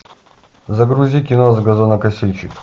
загрузи кино газонокосильщик